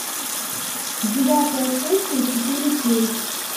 девятая сессия четыре кей